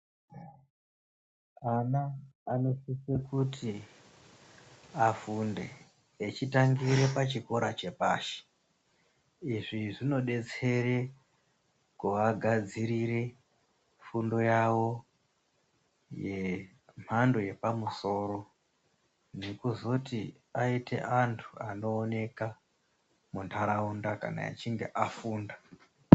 Ana anosise kuti afunde echitangire pachikora chepashi izvi zvinodetsere kuagadzirire fundo yawo yemhando yepamusoro nekuzoti aite anhu anooneka munharaunda kana echinge afunda.